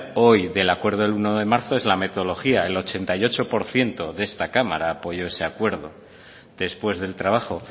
hoy del acuerdo del uno de marzo es la metodología el ochenta y ocho por ciento de esta cámara apoyó ese acuerdo después del trabajo